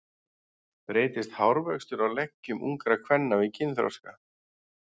Breytist hárvöxtur á leggjum ungra kvenna við kynþroska?